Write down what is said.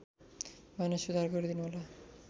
भने सुधार गरिदिनु होला